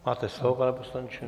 Máte slovo, pane poslanče.